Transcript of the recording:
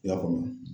I y'a faamu